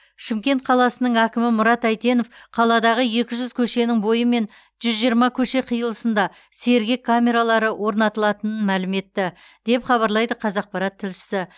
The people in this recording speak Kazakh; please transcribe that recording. шымкент қаласының әкімі мұрат әйтенов қаладағы екі жүз көшенің бойы мен жүз жиырма көше қиылысына сергек камералары орнатылатынын мәлім етті деп хабарлайды қазақпарат тілшісі